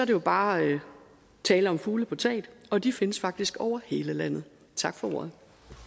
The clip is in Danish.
jo bare tale om fugle på taget og de findes faktisk over hele landet tak for ordet